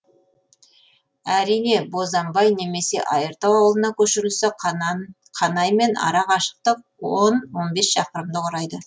әрине бозанбай немесе айыртау ауылына көшірілсе қанаймен ара қашықтық он он бес шақырымды құрайды